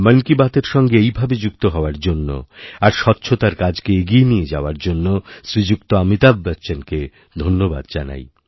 মন কী বাতএর সঙ্গেএইভাবে যুক্ত হওয়ার জন্য আর স্বচ্ছতার কাজকে এগিয়ে নিয়ে যাওয়ার জন্য শ্রীযুক্তঅমিতাভ বচ্চনকে ধন্যবাদ জানাই